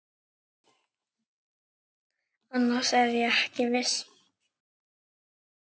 Annars er ég ekki viss.